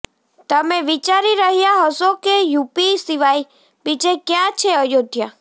તમે વિચારી રહ્યા હશો કે યુપી સિવાય બીજે ક્યા છે અયોધ્યા